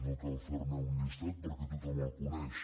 no cal fer·ne un llistat perquè tothom el coneix